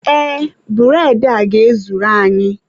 Ee, bụredị a ga-ezuru anyị.